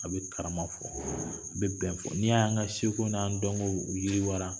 A bi karama fɔ, a bi bɛn fɔ, n'i ye y'an ka seko n'an dɔnko u yiriwa